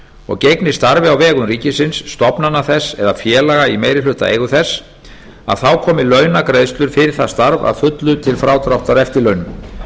og gegni starfi á vegum ríkisins stofnana þess eða félaga í meirihlutaeigu þess komi launagreiðslur fyrir það starf að fullu til frádráttar eftirlaunum